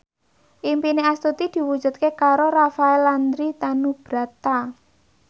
impine Astuti diwujudke karo Rafael Landry Tanubrata